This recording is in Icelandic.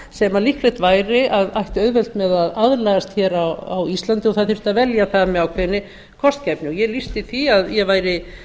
sem líklegt væri að ættu auðvelt með að aðlagast hér á íslandi og það þyrfti að velja með ákveðinni kostgæfni ég lýsti því að ég væri